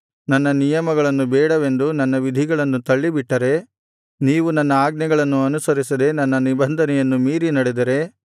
ನನ್ನ ನಿಯಮಗಳನ್ನು ಬೇಡವೆಂದು ನನ್ನ ವಿಧಿಗಳನ್ನು ತಳ್ಳಿಬಿಟ್ಟರೆ ನೀವು ನನ್ನ ಆಜ್ಞೆಗಳನ್ನು ಅನುಸರಿಸದೆ ನನ್ನ ನಿಬಂಧನೆಯನ್ನು ಮೀರಿ ನಡೆದರೆ